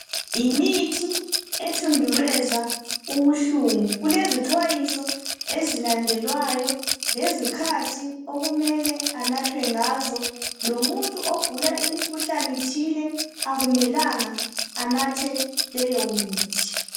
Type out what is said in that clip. yimithi ethundubeza ubuhlungu kulezi xwayiso ezilandelwayo lezikhathi okumele anathwe ngazo lomuntu ogula imkhuhlane thile akumelanga anathe leyo mithi